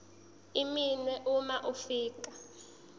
iminwe uma ufika